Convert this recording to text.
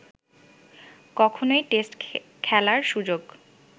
কখনোই টেস্ট খেলার সুযোগ